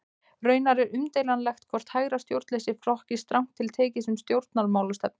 Raunar er umdeilanlegt hvort hægra stjórnleysi flokkist strangt til tekið sem stjórnmálastefna.